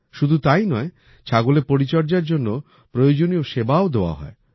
শুধু তাই নয় ছাগলের পরিচর্যার জন্য প্রয়োজনীয় সেবাও দেওয়া হয়